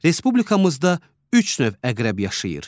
Respublikamızda üç növ əqrəb yaşayır.